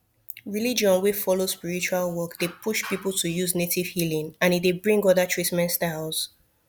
religion wey follow spiritual work dey push people to use native healing and e dey bring other treatment styles